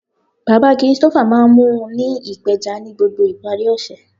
Baba Christopher maa n mu u ni ipeja ni gbogbo ipari ose.